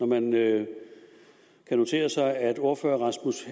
man kan notere sig at ordføreren